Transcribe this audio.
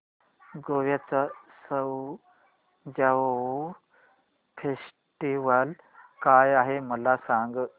गोव्याचा सउ ज्युआउ फेस्टिवल काय आहे मला सांग